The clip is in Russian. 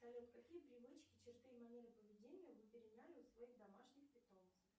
салют какие привычки черты и манеры поведения вы переняли у своих домашних питомцев